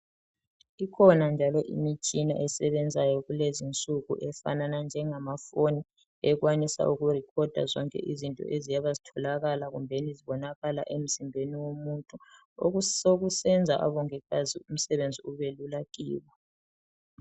Kukhona njalo imitshina esebenzayo kulezinsuku efanana njengamafoni ekwanisa ukurekhoda zonke izinto eziyabe zitholakala emzimbeni womuntu osokusenza abongikazi umsebenzi ubelula kibo.